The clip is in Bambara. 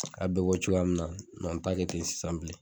A bɛ bɔ cogoya min na n t'a kɛ ten sisan bilen